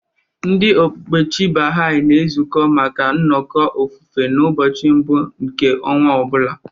Ndị okpukpe Chi Baha'i na-ezukọ maka nnọkọ ofufe n'ụbọchị mbụ nke ọnwa ọ bụla.